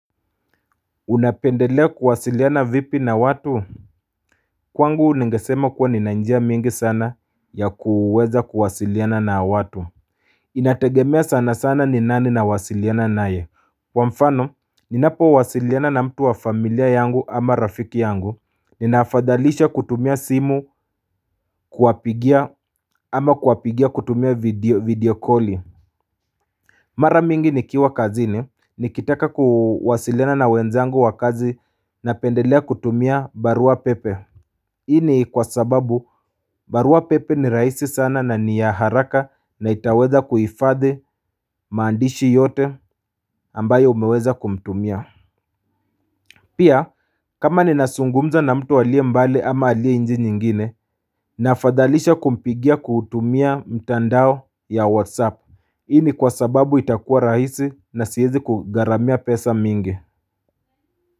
Unapendelea kuwasiliana vipi na watu? Kwangu ningesema kuwa nina njia mingi sana ya kuweza kuwasiliana na watu Inategemea sana sana ni nani nawasiliana naye kwa mfano ninapowasiliana na mtu wa familia yangu ama rafiki yangu Ninaafadhalisha kutumia simu kuwapigia ama kuwapigia kutumia video video koli Mara mingi nikiwa kazini nikitaka kuwasiliana na wenzangu wa kazi napendelea kutumia barua pepe hii ni kwa sababu barua pepe ni rahisi sana na ni ya haraka na itaweza kuhifadhi maandishi yote ambayo umeweza kutumia Pia kama ninazungumza na mtu aliye mbali ama aliye nchi nyingine naafadhalisha kumpigia kutumia mtandao ya whatsapp hii ni kwa sababu itakuwa rahisi na siezi kugharamia pesa mingi.